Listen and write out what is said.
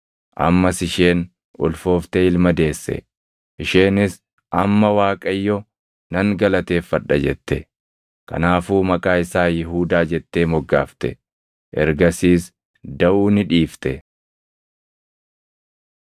Ammas isheen ulfooftee ilma deesse; isheenis, “Amma Waaqayyo nan galateeffadha” jette. Kanaafuu maqaa isaa Yihuudaa jettee moggaafte. Ergasiis daʼuu ni dhiifte.